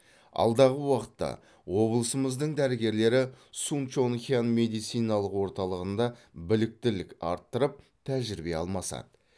алдағы уақытта облысымыздың дәрігерлері сунчонхян медициналық орталығында біліктілік арттырып тәжірибе алмасады